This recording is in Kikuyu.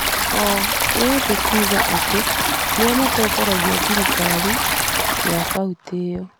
o ĩrĩ kuuga atĩ nĩo matongoragia thirikari ya kauntĩ ĩyo.